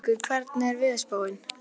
Gaukur, hvernig er veðurspáin?